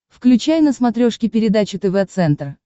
включай на смотрешке передачу тв центр